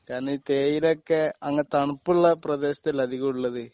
കാരണം ഈ തേയിലയൊക്കെ അങ്ങ് തണുപ്പുള്ള പ്രദേശത്തല്ലേ അധികമുള്ളത്